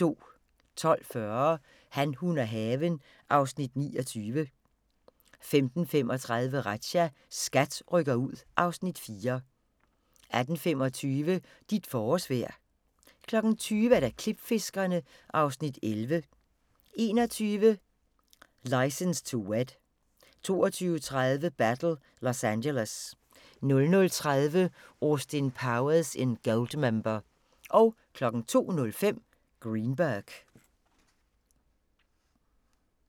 12:40: Han, hun og haven (Afs. 29) 15:35: Razzia – SKAT rykker ud (Afs. 4) 18:25: Dit forårsvejr 20:00: Klipfiskerne (Afs. 11) 21:00: License to Wed 22:30: Battle Los Angeles 00:30: Austin Powers in Goldmember 02:05: Greenberg